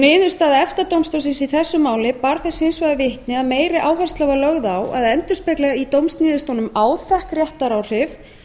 niðurstaða efta dómstólsins í þessu máli bar þess hins vegar vitni að meiri áhersla var lögð á að endurspegla í dómsniðurstöðum áþekk réttaráhrif